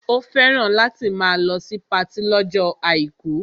Ó fẹ́ràn láti máa lọ sí patí lọ́jọ́ àìkú